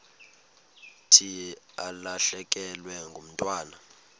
thi ulahlekelwe ngumntwana